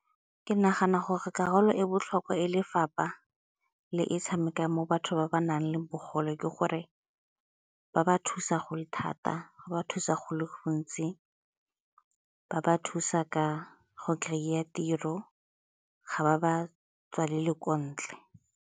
Ke nagana gore karolo e botlhokwa e lefapha le e tshamekang mo batho ba ba nang le bogole ke gore ba ba thusa go le thata go ba thusa go le gontsi ba ba thusa ka go kry-a tiro, ga ba ba tswalele ko ntle.